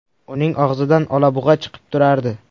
Uning og‘zidan olabug‘a chiqib turardi.